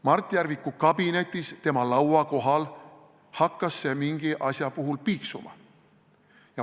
Mart Järviku kabinetis, tema laua kohal hakkas see aparaat mingi asja peale piiksuma.